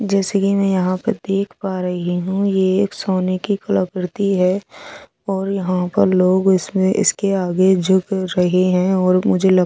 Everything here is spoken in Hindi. जैसे कि मैं यहां पे देख पा रही हूं ये एक सोने की कलाकृति है और यहां पर लोग इसमें इसके आगे झुक रहे हैं और मुझे लग--